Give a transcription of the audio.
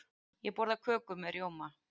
Ég borða köku með rjóma.